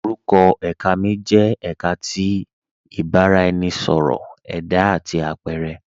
Orúkọ èká mi jẹ èká tí ìbàraẹnisọ̀rọ̀ ẹda àti apẹ̀rẹ.